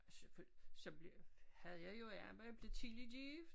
Selvfølgelig så blev havde jo er med at blive tidligt gift